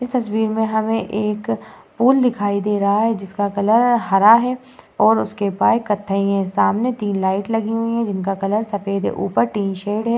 इस तस्वीर में हमें एक पोल दिखाई दे रहा है जिसका कलर हरा है और उसके पाए कथई है सामने तीन लाइट लगी हुई है जिनका कलर सफ़ेद है ऊपर टिन शेड है।